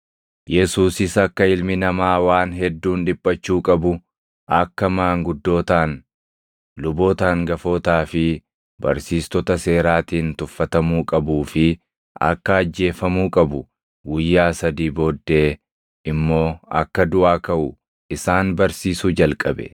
Yesuusis akka Ilmi Namaa waan hedduun dhiphachuu qabu, akka maanguddootaan, luboota hangafootaa fi barsiistota seeraatiin tuffatamuu qabuu fi akka ajjeefamuu qabu, guyyaa sadii booddee immoo akka duʼaa kaʼu isaan barsiisuu jalqabe.